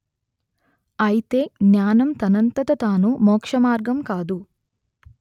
అయితే జ్ఞానం తనంతట తాను మోక్షమార్గం కాదు